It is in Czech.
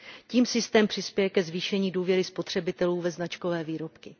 Tím systém přispěje ke zvýšení důvěry spotřebitelů ve značkové výrobky.